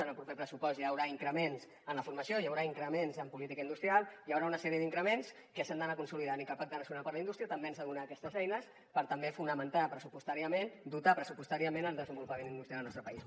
en el proper pressupost hi haurà increments en la formació hi haurà increments en política industrial hi haurà una sèrie d’increments que s’han d’anar consolidant i que el pacte nacional per a la indústria també ens ha de donar aquestes eines per també fonamentar pressupostàriament dotar pressupostàriament el desenvolupament industrial al nostre país